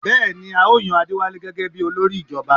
Bẹ́ẹ̀ni, à ó yan Adéwálé gẹ́gẹ bí olórí ìjọba?